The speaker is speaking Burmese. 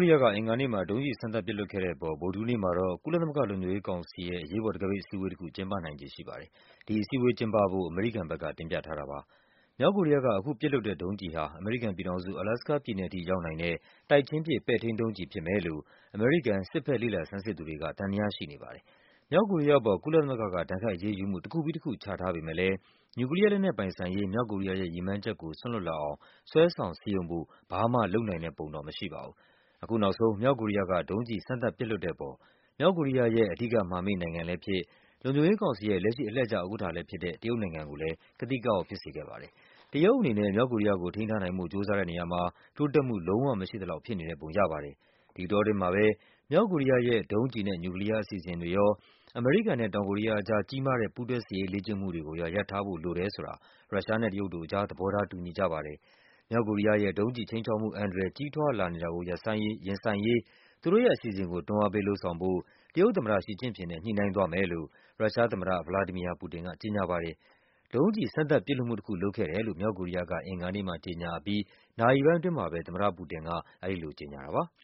ရီးယားက အင်္ဂါနေ့မှာ ဒုံးကျည် စမ်းသပ်ပစ်လွှတ်ခဲ့တဲ့ အပေါ် ဗုဒ္ဓဟူးနေ့မှာတော့ ကုလသမဂ္ဂလုံခြုံရေးကောင်စီရဲ့ အရေးပေါ် တံခါးပိတ် အစည်းအဝေးတခု ကျင်းပနိုင်ခြေ ရှိပါတယ်။ ဒီအစည်းအဝေး ကျင်းပဖို့ အမေရိကန်က တင်ပြထားတာပါ။ မြောက်ကိုရီးယားက အခုပစ်လွှတ်တဲ့ ဒုံးကျည်ဟာ အမေရိကန်ပြည်ထောင်စု၊ အလာစကားပြည်နယ်ထိ ရောက်နိုင်တဲ့ တိုက်ချင်းပစ် ပဲ့ထိန်းဒုံးကျည် ဖြစ်မယ်လို့ အမေရိကန် စစ်ဘက် လေ့လာဆန်းစစ်သူတွေက သံသယရှိနေပါတယ်။ မြောက်ကိုရီးယား အပေါ် ကုလသမဂ္ဂက ဒဏ်ခတ်အရေးယူမှု တခုပြီးတခု ချထားပေမယ့်လည်း နျူကလီးယား လက်နက် ပိုင်ဆိုင်ရေး မြောက်ကိုရီးယားရဲ့ ရည်မှန်းချက်ကို စွန့်လွှတ်လာအောင် ဆွဲဆောင်စည်းရုံးဖို့ ဘာမှလုပ်နိုင်တဲ့ ပုံတော့ မရှိပါဘူး။ အခုနောက်ဆုံး မြောက်ကိုရီးယားက ဒုံးကျည် စမ်းသပ်ပစ်လွှတ်တဲ့ အပေါ် မြောက်ကိုရီးယားရဲ့အဓိက မဟာမိတ်နိုင်ငံလည်းဖြစ်၊ လုံခြုံ ရေးကောင်စီရဲ့လက်ရှိ အလှည့်ကျ ဥက္ကဌလည်း ဖြစ်တဲ့ တရုတ်နိုင်ငံကိုလည်း ကသိကအောက် ဖြစ်စေခဲ့ပါတယ်။ တရုတ်အနေနဲ့ မြောက် ကိုရီးယားကို ထိန်းထားနိုင်ဖို့ကြိုးစားတဲ့ နေရာမှာ တိုးတက်မှု လုံးဝမရှိသလောက် ဖြစ်နေတဲ့ပုံ ရပါတယ်။ ဒီအတောအတွင်းမှာပဲ မြောက်ကိုရီးယားရဲ့ဒုံးကျည်နဲ့နျူကလီးယား အစီအစဉ်တွေရော၊ အမေရိကန်နဲ့ တောင်ကိုရီးယား အကြား ကြီးမားတဲ့ ပူးတွဲ စစ်ရေးလေ့ကျင့်မှု တွေကိုရော ရပ်ထားဖို့ လိုတယ်ဆိုတာ ရုရှားနဲ့ တရုတ်တို့အကြား သဘောထား တူညီကြပါတယ်။ မြောက်ကိုရီးယားရဲ့ဒုံးကျည် ခြိမ်းခြောက်မှု အန္တရာယ် ကြီးထွားလာနေတာကို ရင်ဆိုင်ရေး သူတို့ရဲ့ အစီအစဉ်ကို တွန်းအားပေး လုပ်ဆောင်ဖို့ တရုတ်သမ္မတ ရှီကျင့်ဖျင်နဲ့ ညှိနှိုင်း သွားမယ်လို့ ရုရှားသမ္မတ ဗလာဒီမီယာ ပူတင်က ကြေညာပါတယ်။ ဒုံးကျည် စမ်းသပ်ပစ်လွှတ်မှု တခု လုပ်ခဲ့တယ်လို့ မြောက်ကိုရီးယားက အင်္ဂါနေ့မှာ ကြေညာအပြီး နာရီပိုင်းအတွင်းမှာပဲ သမ္မတ ပူတင်က အဲဒီလို ကြေညာတာပါ။